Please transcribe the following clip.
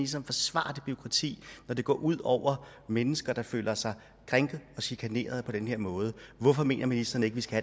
så forsvare det bureaukrati når det går ud over mennesker der føler sig krænket og chikaneret på den her måde hvorfor mener ministeren ikke vi skal